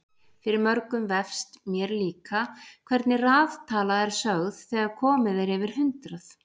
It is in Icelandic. Fyrir mörgum vefst- mér líka- hvernig raðtala er sögð þegar komið er yfir hundrað.